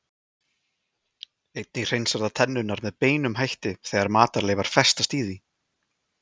Einnig hreinsar það tennurnar með beinum hætti þegar matarleifar festast í því.